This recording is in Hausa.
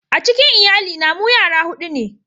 A cikin lyalli na mu yara hudu ne.